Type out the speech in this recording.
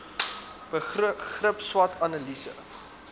begrip swot analise